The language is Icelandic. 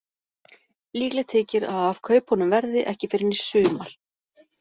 Líklegt þykir að af kaupunum verði ekki fyrr en í sumar.